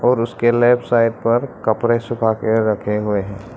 और उसके left side पर कपड़े सुखा के रखे हुए हैं।